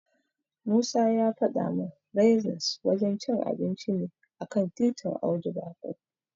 Musa ya fada min Raisins wajen cin abinci ne a kan titin Audu Bako.